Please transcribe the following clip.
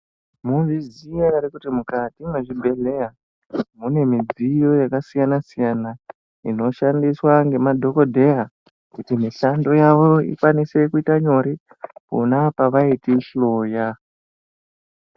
Mwozviziya ere kuti mukati mwezvibhehleya mune midziyo yakasiyanasiyana inoshandiswa ngemadhokodheya kuti mishando yawo ikwanise kuita nyore pona pavaitihloya.